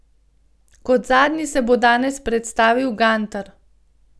Kot zadnji se bo danes predstavil Gantar.